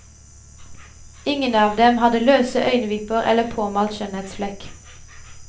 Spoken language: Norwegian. Ingen av dem hadde løse øyenvipper eller påmalt skjønnhetsflekk.